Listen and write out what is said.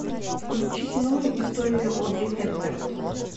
включи кино история одри хепберн